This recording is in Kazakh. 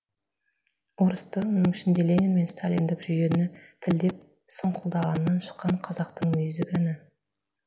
орысты оның ішінде ленин мен сталиндік жүйені тілдеп сұңқылдағаннан шыққан қазақтың мүйізі кәні